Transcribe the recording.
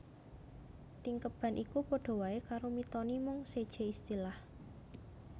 Tingkeban iku padha waé karo Mitoni mung sejé istilah